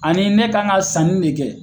Ani ne kan ka sanni de kɛ